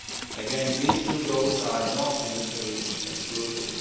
Again, these two goals are not mutually exclusive.